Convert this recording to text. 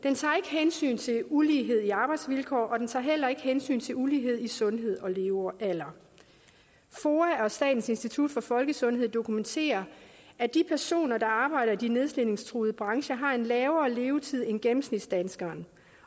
hensyn til ulighed i arbejdsvilkår og den tager heller ikke hensyn til ulighed i sundhed og levealder foa og statens institut for folkesundhed dokumenterer at de personer der arbejder i de nedslidningstruede brancher har en lavere levetid end gennemsnitsdanskeren